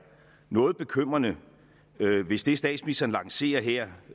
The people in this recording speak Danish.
noget bekymrende hvis det statsministeren lancerer her